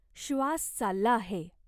श्वास चालला आहे.